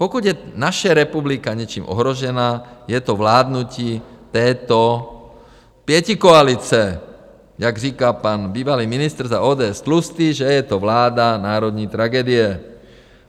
Pokud je naše republika něčím ohrožena, je to vládnutí této pětikoalice, jak říká pan bývalý ministr za ODS Tlustý, že je to vláda národní tragédie.